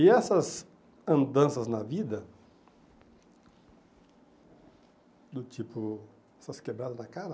E essas andanças na vida, do tipo essas quebradas na cara,